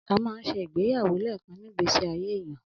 Amà ń se Ìgbẹyàwó lẹkan nigbe sí àyé ẹyan.